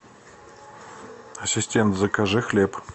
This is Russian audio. ассистент закажи хлеб